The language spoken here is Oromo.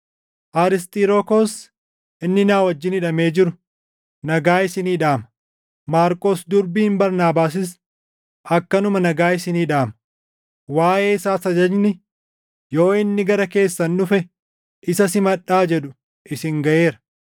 Arisxirokoos inni na wajjin hidhamee jiru nagaa isinii dhaama; Maarqos durbiin Barnaabaasis akkanuma nagaa isinii dhaama. Waaʼee isaas ajajni, “Yoo inni gara keessan dhufe isa simadhaa” jedhu isin gaʼeera.